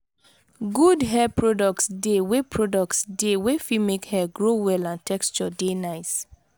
good hair products de wey products de wey fit make hair grow well and texture de nice